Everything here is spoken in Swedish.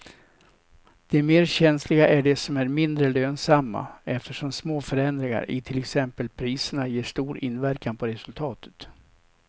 De mer känsliga är de som är mindre lönsamma eftersom små förändringar i till exempel priserna ger stor inverkan på resultatet.